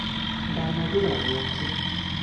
Ndanagũra gwake